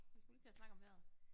Vi skulle lige til at snakke om vejret